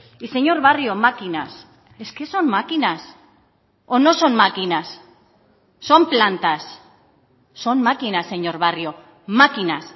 y señor barrio máquinas es que son máquinas o no son máquinas son plantas son máquinas señor barrio máquinas